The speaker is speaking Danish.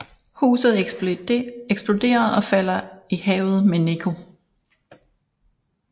Huset eksploderer og falder i havet med Nico